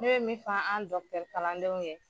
Ne bɛ min fɔ an kalandenw ye.